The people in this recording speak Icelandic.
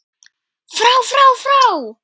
FRÁ FRÁ FRÁ